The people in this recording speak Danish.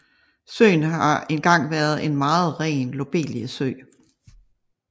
Søen har engang været en meget ren lobeliesø